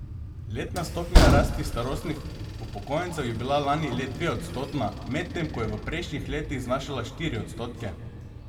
Letna stopnja rasti starostnih upokojencev je bila lani le dveodstotna, medtem ko je v prejšnjih letih znašala štiri odstotke.